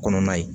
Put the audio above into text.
Kɔnɔna ye